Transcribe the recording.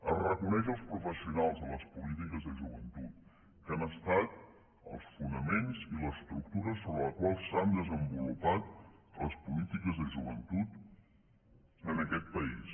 es reconeix els professionals de les polítiques de joventut que han estat els fonaments i l’estructura sobre la qual s’han desenvolupat les polítiques de joventut en aquest país